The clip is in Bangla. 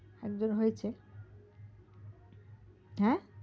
হা একদম হয়েছে হা